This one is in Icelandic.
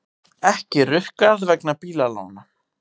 Ekki rukkað vegna bílalána